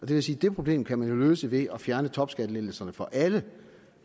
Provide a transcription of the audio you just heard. vil sige at det problem kan man jo løse ved at fjerne topskattelettelserne for alle